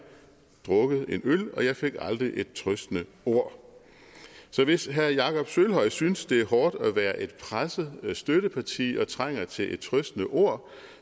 drukket en øl og jeg fik aldrig et trøstende ord så hvis herre jakob sølvhøj synes det er hårdt at være et presset støtteparti og trænger til et trøstende ord